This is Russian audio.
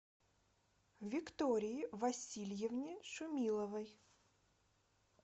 виктории васильевне шумиловой